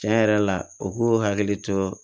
Tiɲɛ yɛrɛ la u k'u hakili to